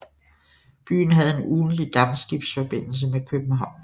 Byen havde en ugentlig dampskibsforbindelse med København